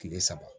Kile saba